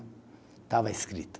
Estava escrito.